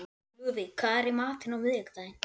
Lúðvík, hvað er í matinn á miðvikudaginn?